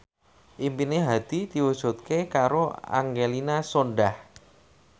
impine Hadi diwujudke karo Angelina Sondakh